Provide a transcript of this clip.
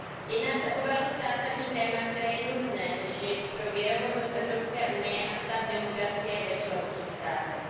Jedná se o velmi zásadní téma, které je nutné řešit pro věrohodnost Evropské unie a stav demokracie v členských státech.